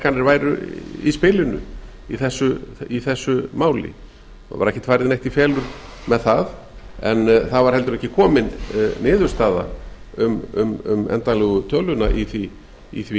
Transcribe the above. vaxtahækkanir væru í spilinu í þessu máli það var ekki farið neitt í felur með það en það var heldur ekki komin niðurstaða um endanlegu töluna í því